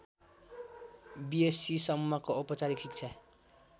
बिएस्सीसम्मको औपचारिक शिक्षा